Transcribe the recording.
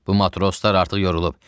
Bu matroslar artıq yorulub.